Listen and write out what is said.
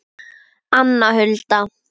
Anna Hulda.